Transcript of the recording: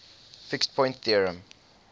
fixed point theorem